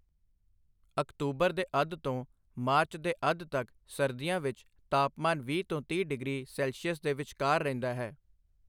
October ਦੇ ਅੱਧ ਤੋਂ ਮਾਰਚ ਦੇ ਅੱਧ ਤੱਕ ਸਰਦੀਆਂ ਵਿੱਚ ਤਾਪਮਾਨ ਵੀਹ ਤੋਂ ਤੀਹ ਡਿਗਰੀ ਸੈਲਸੀਅਸ ਦੇ ਵਿਚਕਾਰ ਰਹਿੰਦਾ ਹੈ।